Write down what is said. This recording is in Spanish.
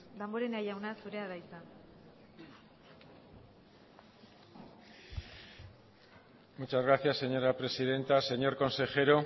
damborenea jauna zurea da hitza muchas gracias señora presidenta señor consejero